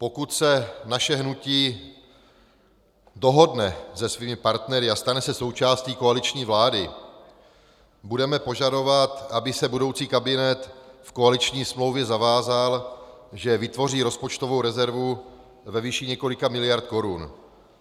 Pokud se naše hnutí dohodne se svými partnery a stane se součástí koaliční vlády, budeme požadovat, aby se budoucí kabinet v koaliční smlouvě zavázal, že vytvoří rozpočtovou rezervu ve výši několika miliard korun.